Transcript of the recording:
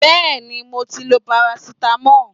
Yes, I have taken paracetamol